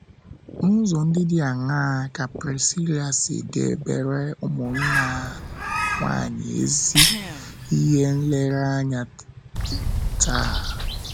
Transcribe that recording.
N’ụzọ ndị dị aṅaa ka Prisila si debere ụmụnna nwanyị ezi ihe nlereanya taa?